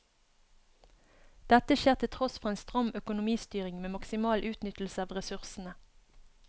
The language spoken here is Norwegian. Dette skjer til tross for en stram økonomistyring med maksimal utnyttelse av ressursene.